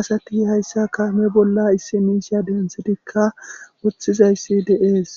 asati hayssa kaame bolla issi miisha dentshidikka woththizayssi de7ees.